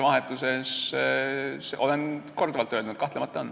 Ma olen korduvalt öelnud, et kahtlemata on.